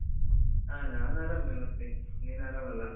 ಹಾ, ನಾನ್ ಆರಾಮ್. ಮತ್ತೆ ನೀನ್ ಆರಾಮಲ್ಲ?